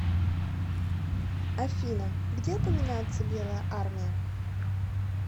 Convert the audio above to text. афина где упоминается белая армия